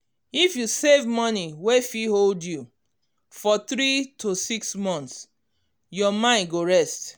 if you save money wey fit hold you for 3 to 6 months your mind go rest.